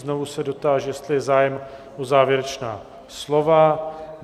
Znovu se dotáži, jestli je zájem o závěrečná slova?